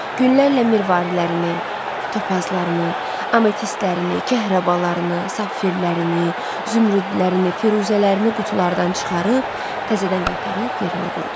Günlərlə mirvarilərini, topazlarını, ametistlərini, kəhrabalarını, safirlərini, zümrüdlərini, firuzələrini qutulardan çıxarıb təzədən qaytarıb yerinə qoydu.